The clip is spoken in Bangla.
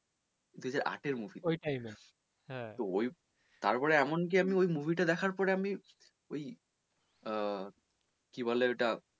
দু হাজার আটের movie তো ওই তার পর এমনকি আমি ওই movie টা দেখার পর আমি ওই আহ কি বলে ওটা